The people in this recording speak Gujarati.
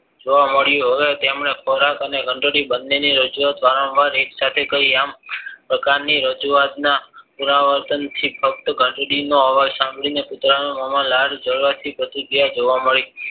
જોવા મળ્યું તેમને ખોરાક અને ઘંટડી બને રજુવાત વારંવાર એક સાથે કરી આ પ્રકારની રજુવાત ના પુનરાવર્તનથી ફક્ત ઘંટડી નો અબજ સાંભરીને કુતરાના મોમાં લાળ જરવાથી પ્રતિક્રિયા જોવા મળી